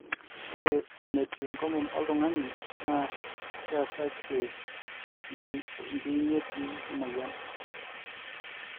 ore enetiu enkomom oltungani naa keesakie enchiunyetie emoyian